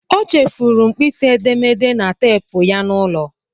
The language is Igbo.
O chefuru mkpịsị edemede na teepu ya n'ụlọ.